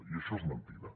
i això és mentida